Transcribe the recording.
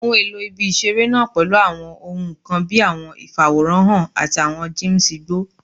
Ohun elo ibi-iṣere naa pẹlu awọn ohun kan bii awọn ifaworanhan ati awọn gyms igbo